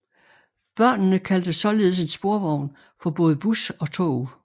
Børnene kaldte således en sporvogn for både bus og tog